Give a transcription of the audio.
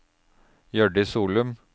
Hjørdis Solum